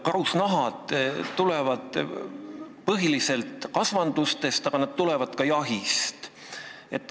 Karusnahad tulevad põhiliselt kasvandustest, aga neid saadakse ka jahi käigus.